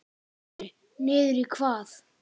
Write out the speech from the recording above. Sindri: Niður í hvað?